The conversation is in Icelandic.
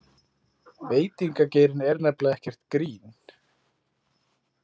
Veitingageirinn er nefnilega ekkert grín.